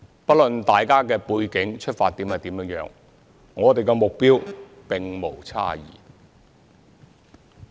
不論大家的背景、出發點為何，我們的目標並無差異。